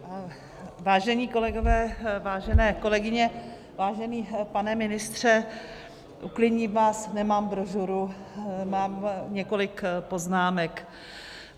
Vážení kolegové, vážené kolegyně, vážený pane ministře, uklidním vás, nemám brožuru, mám několik poznámek.